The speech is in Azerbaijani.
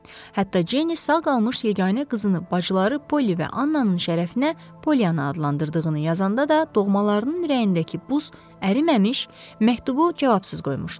Hətta Cenni sağ qalmış yeganə qızını bacıları Polli və Annanın şərəfinə Polli adlandırdığını yazanda da doğmalarının ürəyindəki buz əriməmiş, məktubu cavabsız qoymuşdular.